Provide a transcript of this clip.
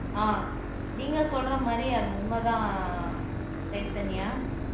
ஆஹ் நீங்க சொல்ற மாதிரி அது உண்மைதான் சைதன்யா